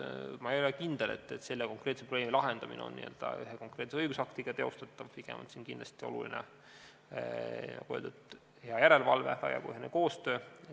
Ma ei ole kindel, et selle konkreetse probleemi lahendamine on teostatav ühe konkreetse õigusaktiga, pigem on siin kindlasti oluline, nagu öeldud, hea järelevalve ja laiapõhjaline koostöö.